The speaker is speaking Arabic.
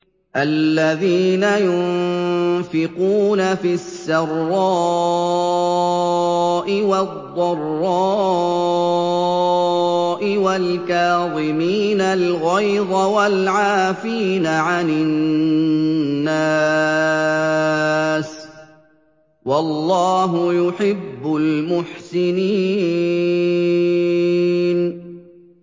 الَّذِينَ يُنفِقُونَ فِي السَّرَّاءِ وَالضَّرَّاءِ وَالْكَاظِمِينَ الْغَيْظَ وَالْعَافِينَ عَنِ النَّاسِ ۗ وَاللَّهُ يُحِبُّ الْمُحْسِنِينَ